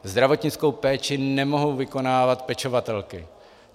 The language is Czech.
Zdravotnickou péči nemohou vykonávat pečovatelky.